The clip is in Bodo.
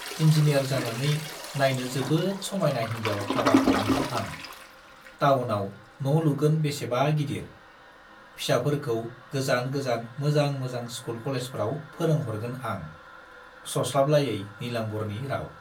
इन्जिनियार जानानै नाइनो जोबोद समाइना हिन्जाव हाबा खालामगोन आं, टाउनाव न' लुगोन बेसेबा गिदिर, फिसाफोरखौ गोजान गोजान मोजां मोजां स्कुल कलेजफ्राव फोरोंहरगोन आं, सस्लाबलायै नीलाम्बरनि राव।